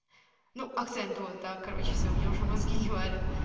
ну акцент вот да короче всё у меня уже мозги не варят